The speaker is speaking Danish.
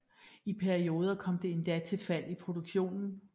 I perioder kom det endda til fald i produktionen